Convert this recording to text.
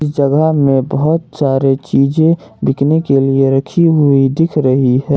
इस जगह में बहुत सारे चीजे बिकने के लिए रखी हुई दिख रही है।